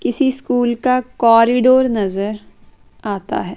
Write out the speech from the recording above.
किसी स्कूल का कॉरिडोर नजर आता है।